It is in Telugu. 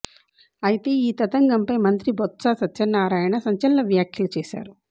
అయితే ఈ తతంగం పై మంత్రి బొత్స సత్యనారాయణ సంచలన వ్యాఖ్యలు చేశారు